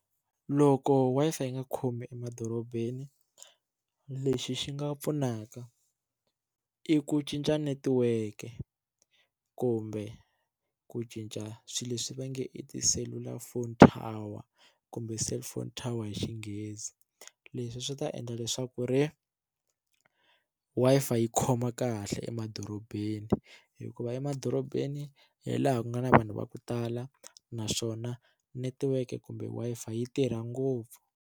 Loko Wi-Fi yi nga khomi emadorobeni lexi xi nga pfunaka i ku cinca netiweke kumbe ku cinca swilo leswi va nge i tiselulafoni tower kumbe cellphone tower hi Xinghezi leswi swi ta endla leswaku ri Wi-Fi yi khoma kahle emadorobeni hikuva emadorobeni hi laha ku nga na vanhu va ku tala naswona netiweke kumbe Wi-Fi yi tirha ngopfu.